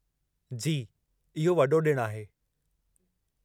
जी, इहो वॾो ॾिणु आहे।